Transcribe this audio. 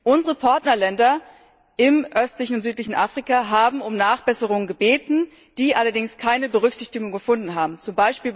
Unsere Partnerländer im östlichen und südlichen Afrika haben um Nachbesserungen gebeten, die allerdings keine Berücksichtigung gefunden haben, z.